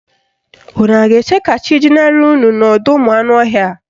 Unu a ga-eche ka chi jinarị unu n'ọdọụmụanụọhịa?